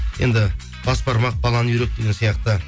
енді бас бармақ балан үйрек деген сияқты